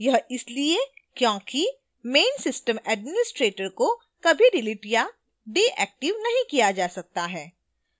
यह इसलिए क्योंकि main system administrator को कभी डिलीट या डिएक्टिव नहीं किया जा सकता है